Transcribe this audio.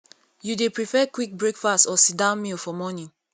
you dey prefer quick breakfast or sitdown meal for morning